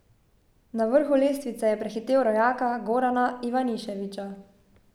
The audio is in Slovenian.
Na vrhu lestvice je prehitel rojaka Gorana Ivaniševića.